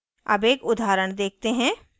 अब एक उदाहरण देखते हैं